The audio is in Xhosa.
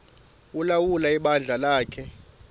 ulawula ibandla lakhe